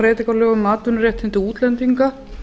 lögum um atvinnuréttindi útlendinga